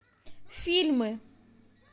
фильмы